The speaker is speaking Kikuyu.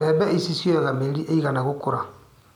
Mbembe ici cioyaga mĩeri ĩigana gũkũra.